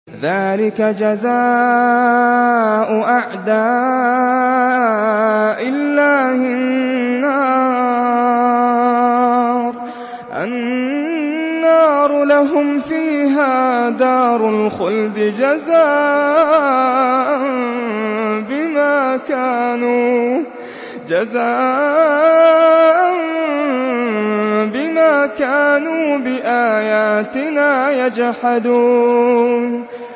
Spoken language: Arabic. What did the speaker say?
ذَٰلِكَ جَزَاءُ أَعْدَاءِ اللَّهِ النَّارُ ۖ لَهُمْ فِيهَا دَارُ الْخُلْدِ ۖ جَزَاءً بِمَا كَانُوا بِآيَاتِنَا يَجْحَدُونَ